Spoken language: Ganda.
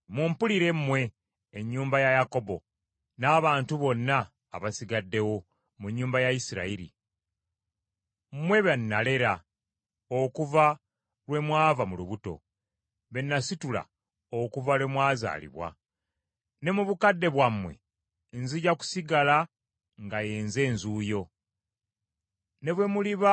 Ne mu bukadde bwammwe nzija kusigala nga ye nze Nzuuyo. Ne bwe muliba mulina envi nnaabasitulanga. Nze nabakola era nze nnaabawekanga. Nnaabasitulanga era nnaabanunulanga.